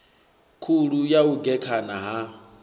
khulu ya u gekhana ha